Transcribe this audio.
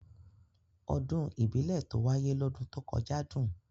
Ọdún ìbílẹ̀ tó wáyé lọ́dún tó kọjá dùn.